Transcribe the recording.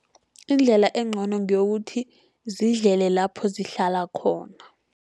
Indlela encono ngeyokuthi zidlele lapho zihlala khona.